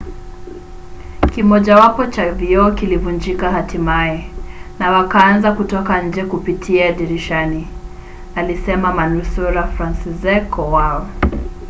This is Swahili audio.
kimojawapo cha vioo kilivunjika hatimaye na wakaanza kutoka nje kupitia dirishani, alisema manusura franciszek kowal